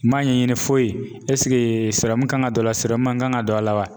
N m'a ɲɛɲini foyi kan ka don a la sɔrɔmun kan ka don a la wa.